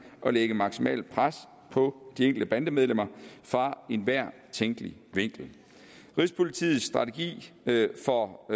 og lægge maksimalt pres på de enkelte bandemedlemmer fra enhver tænkelig vinkel rigspolitiets strategi for